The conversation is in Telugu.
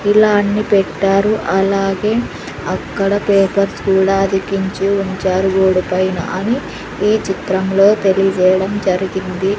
ఇలా అన్ని పెట్టారు అలాగే అక్కడ పేపర్స్ కూడా అతికించి ఉంచారు గోడ పైన అని ఈ చిత్రంలో తెలియజేయడం జరిగింది.